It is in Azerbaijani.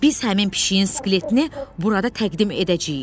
Biz həmin pişiyin skeletini burada təqdim edəcəyik.